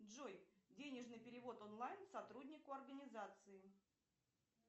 джой денежный перевод онлайн сотруднику организации